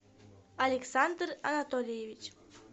александр анатольевич